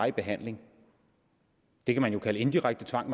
i behandling det kan man jo kalde indirekte tvang